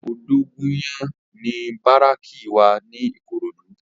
Odogunyan ni báráki wá ni Ikorodu